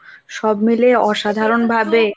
সব মিলে অসাধারণ ভাবে